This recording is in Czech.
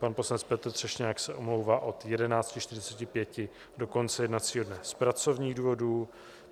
Pan poslanec Petr Třešňák se omlouvá od 11.45 do konce jednacího dne z pracovních důvodů.